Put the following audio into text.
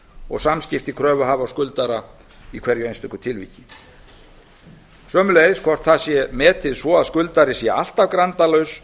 og samskipti kröfuhafa og skuldara í hverju einstöku tilviki sömuleiðis hvort það sé metið svo að skuldari sé alltaf grandalaus